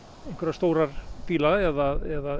stóra bíla eða